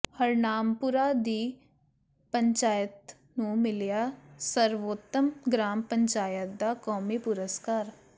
ਹਰਨਾਮਪੁਰਾ ਦੀ ਪੰਚਾਇਤ ਨੂੰ ਮਿਲਿਆ ਸਰਵੋਤਮ ਗ੍ਰਾਮ ਪੰਚਾਇਤ ਦਾ ਕੌਮੀ ਪੁਰਸਕਾਰ